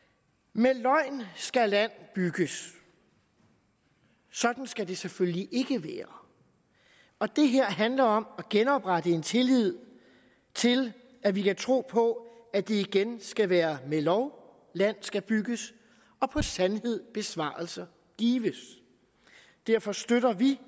med løgn skal land bygges sådan skal det selvfølgelig ikke være det her handler om at genoprette en tillid til at vi kan tro på at det igen skal være med lov land skal bygges og på sandhed besvarelser gives derfor støtter vi